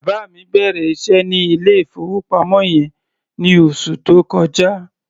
Bàbá mi bẹ̀rẹ̀ iṣẹ́ ní ilé-ìfowópamọ́ yẹn ní oṣù tó kọjá.